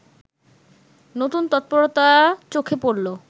নতুন তৎপরতা চোখে পড়লো